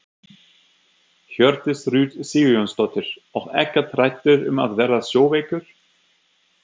Hjördís Rut Sigurjónsdóttir: Og ekkert hræddur um að verða sjóveikur?